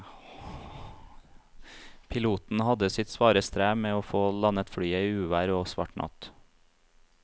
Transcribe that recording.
Piloten hadde sitt svare strev med å få landet flyet i uvær og svart natt.